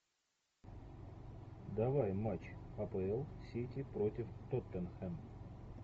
давай матч апл сити против тоттенхэм